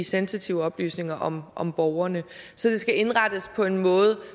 sensitive oplysninger om om borgerne så det skal indrettes på en måde